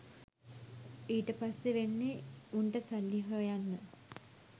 ඊට පස්සේ වෙන්නේ උන්ට සල්ලි හොයන්න